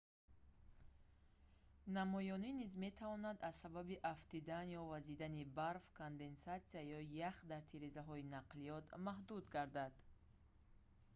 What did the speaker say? намоёнӣ низ метавонад аз сабаби афтидан ё вазидани барф конденсатсия ё ях дар тирезаҳои нақлиёт маҳдуд гардад